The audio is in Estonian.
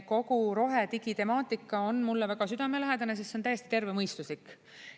Kogu rohedigi temaatika on mulle väga südamelähedane, sest see on täiesti tervemõistuslik.